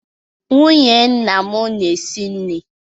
Nwunye nna m na-esi nri.